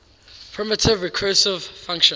primitive recursive function